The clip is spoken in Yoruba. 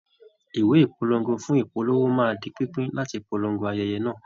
Ìwé ìpolongo fún ìpolówó má di pínpín láti polongo ayẹyẹ náà